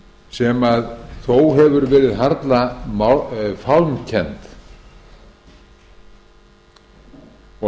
sem þó hefur verið harla fálmkennd og að vissu leyti má